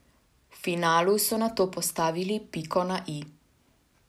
V finalu so nato postavili piko na i.